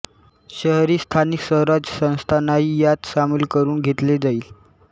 शहरी स्थानिक स्वराज संस्थांनाही यात सामील करून घेतले जाईल